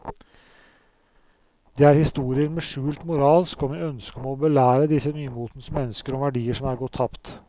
Det er historier med skjult moral og med ønske om å belære disse nymotens mennesker om verdier som er gått tapt.